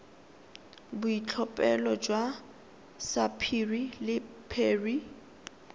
boitlhophelo jwa sapphire le beryl